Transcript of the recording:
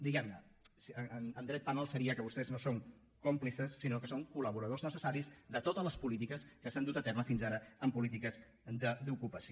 diguem ne en dret penal seria que vostès no són còmplices sinó que són col·laboradors necessaris de totes les polítiques que s’han dut a terme fins ara en polítiques d’ocupació